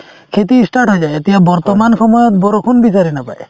খেতি ই start হৈ যায় এতিয়া বৰ্তমান সময়ত বৰষুণ বিচাৰি নাপায়